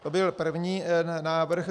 To byl první návrh.